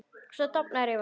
Svo dofnar yfir honum.